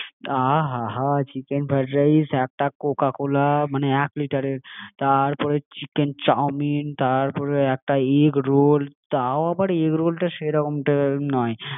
আহা হা হা! চিকেন ফ্রাইড রাইস, একটা CoCa Cola মানে এক লিটারের, তারপরে চিকেন চাউমিন, তারপরে একটা এগরোল তাও আবার এগরোলটা সেরকম যেরকম নাই